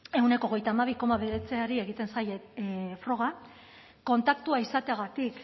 ehuneko hogeita hamabi koma bederatziri egiten zaie froga kontaktua izateagatik